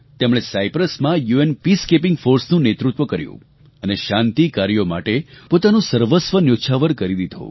તેમણે સાયપ્રસમાં UN peacekeeping force નું નેતૃત્વ કર્યું અને શાંતિ કાર્યો માટે પોતાનું સર્વસ્વ ન્યોછાવર કરી દીધું